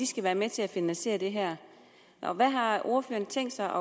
skal være med til at finansiere det her og hvad har ordføreren tænkt sig